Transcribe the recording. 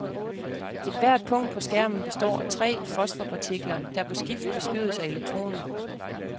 Ethvert punkt på skærmen består af tre fosforpartikler, der på skift beskydes af elektroner.